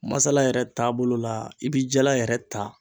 Masala yɛrɛ taabolo la, i bi jala yɛrɛ ta